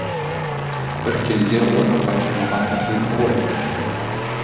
бір кезде оны байқамаған да едің ғой